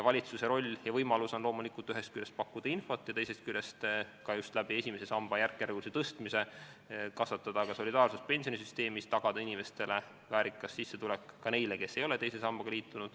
Valitsuse roll ja võimalus on loomulikult ühest küljest pakkuda infot ja teisest küljest, ka just esimese samba järkjärgulise suurendamisega kasvatada solidaarsust pensionisüsteemis ja tagada inimestele väärikas sissetulek, ka neile, kes ei ole teise sambaga liitunud.